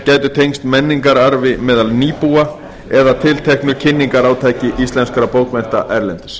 gætu tengst menningarstarfi meðal nýbúa eða tilteknu kynningarátaki íslenskra bókmennta erlendis